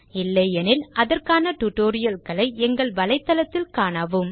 இல்லையெனில் அதற்கான tutorial களை எங்கள் வலைதளத்தில் காணவும்